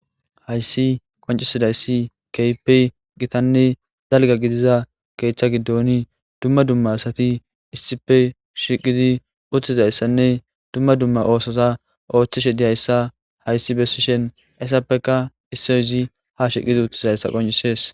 Hayssi qoncisidayssi keype gitanne dalga gidiza keeththa giddoni dumma dumma asati issife shiqidi uttizayssanne dumma dumma oososa ooththishe diyayssa hayssi bessishen essappeka issoy izi ha shiqidi uttizayssa qoncisees.